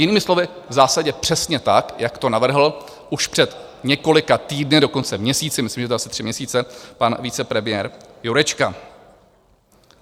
Jinými slovy v zásadě přesně tak, jak to navrhl už před několika týdny, dokonce měsíci, myslím, že je to asi tři měsíce, pan vicepremiér Jurečka.